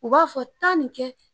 U b'a fɔ taa ni kɛ.